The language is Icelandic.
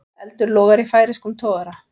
Eldur logar í færeyskum togara